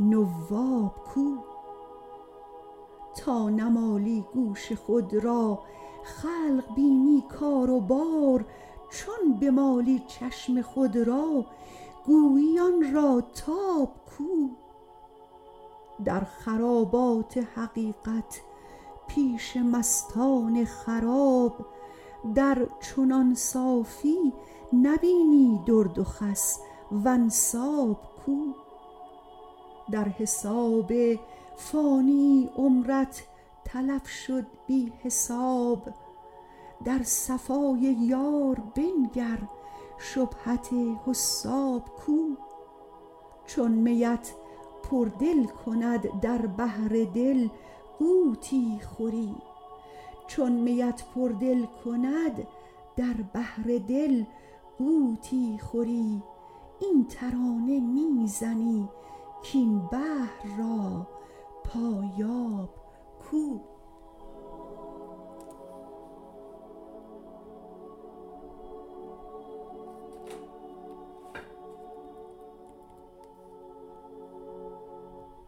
نواب کو تا نمالی گوش خود را خلق بینی کار و بار چون بمالی چشم خود را گویی آن را تاب کو در خرابات حقیقت پیش مستان خراب در چنان صافی نبینی درد و خس و انساب کو در حساب فانیی عمرت تلف شد بی حساب در صفای یار بنگر شبهت حساب کو چون میت پردل کند در بحر دل غوطی خوری این ترانه می زنی کاین بحر را پایاب کو